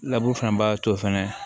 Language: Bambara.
laburu fana b'a to fɛnɛ